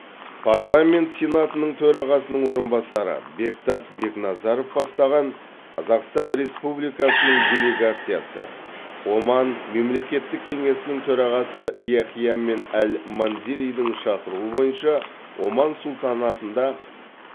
парламент сенатының төрағасының орынбасары бектас бекназаров бастаған қазақстан республикасының делегациясы оман мемлекеттік кеңесінің төрағасы яхия мен әл манзеридің шақыруы бойынша оман сұлтанатында